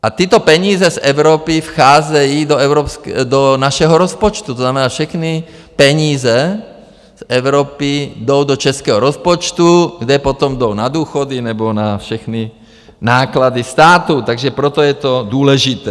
A tyto peníze z Evropy vcházejí do našeho rozpočtu, to znamená, všechny peníze z Evropy jdou do českého rozpočtu, kde potom jdou na důchody nebo na všechny náklady státu, takže proto je to důležité.